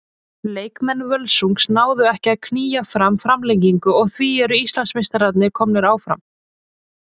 Leikmenn Völsungs náðu ekki að að knýja fram framlengingu og því eru Íslandsmeistararnir komnir áfram.